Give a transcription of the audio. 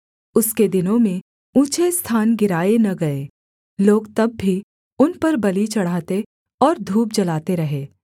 उसके दिनों में ऊँचे स्थान गिराए न गए लोग तब भी उन पर बलि चढ़ाते और धूप जलाते रहे